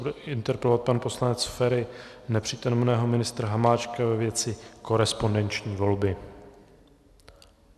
Bude interpelovat pan poslanec Feri nepřítomného ministra Hamáčka ve věci korespondenční volby.